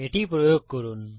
এটি মন থেকে প্রয়োগ করুন